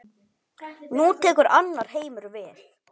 Nú tekur annar heimur við.